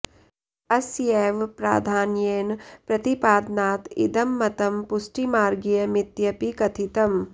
अस्यैव प्राधान्येन प्रतिपादनात् इदं मतं पुष्टिमार्गीय मित्यपि कथितम्